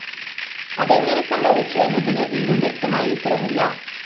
അതെങ്ങനെ സംഭവിച്ചു എന്നതിന് ഇന്നും വ്യക്തമായ ഉത്തരമില്ല